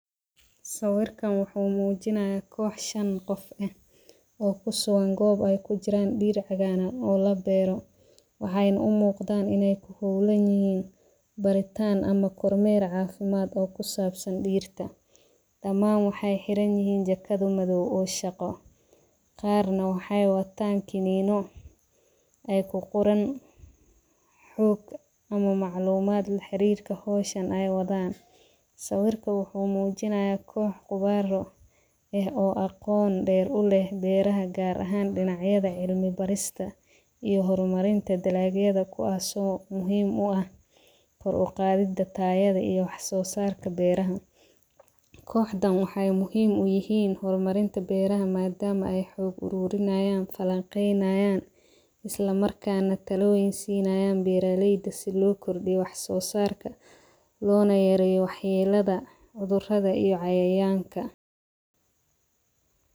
Sawirkan wuxuu muujinayaa koox shan qof ah oo ku soowan goob ay ku jiraan dhiir cagaanan oo la beero. Waxaaynu u muuqdaan inay ku hubleyd baritaan ama kormeer caafimaad oo ku saabsan dhirta. Damaan waxay xiran yahiin jakadu madaw oo shaqo. Qaarina waxay wataan kiniino ay ku qoran xog ama macluumaad la xiriirka hooshan ay wadaan. Sawirka wuxuu muujinayaa koox qabaaro ah oo aqoon dheer u leh beeraha gaar ahaan dhinacyada, cilmi barista iyo horumarinta dalaalkayada kuwaasoo muhiim u ah faruuqaadida taayada iyo waxsoo sarka beeraha. Kooxdaan waxay muhiim u yihiin hormarinta beeraha maadaama ay xoog uruurinayaan, falanqeynaayaan isla markaan natalo insiinaayaan beeraleyda si loo kordhiyo wax soo sarka loona yaryee waxyiiyadda, udurada iyo cayayaanka.